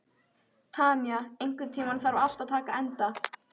Tanya, einhvern tímann þarf allt að taka enda.